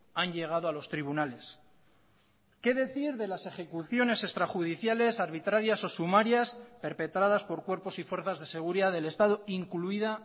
han llegado a los tribunales qué decir de las ejecuciones extrajudiciales arbitrarias o sumarias perpetradas por cuerpos y fuerzas de seguridad del estado incluida